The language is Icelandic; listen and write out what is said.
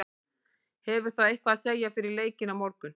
Hefur það eitthvað að segja fyrir leikinn á morgun?